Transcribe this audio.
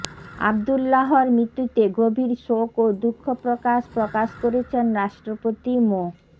আব্দুল্লাহর মৃত্যুতে গভীর শোক ও দুঃখ প্রকাশ প্রকাশ করেছেন রাষ্ট্রপতি মো